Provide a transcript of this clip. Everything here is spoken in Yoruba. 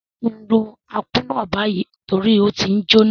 Sé ki n ro Akpu náà bayi torí o ti njoná?